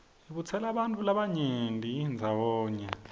ibutsela bantfu labanyeni ndzawonye